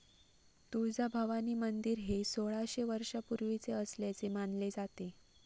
तुळजाभवानी मंदिर हे सोळाशे वर्षापूर्वीचे असल्याचे मानले जाते.